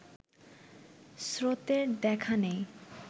স্রোতের দেখা নেই